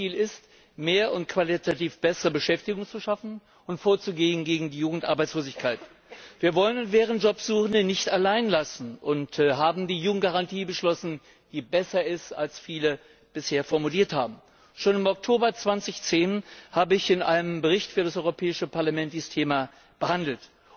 Zentrales Ziel ist, mehr und qualitativ bessere Beschäftigung zu schaffen und gegen die Jugendarbeitslosigkeit vorzugehen. Wir wollen und werden Jobsuchende nicht allein lassen und haben die Jugendgarantie beschlossen, die besser ist, als viele bisher formuliert haben. Schon im Oktober 2010 habe ich in einem Bericht für das Europäische Parlament dieses Thema behandelt.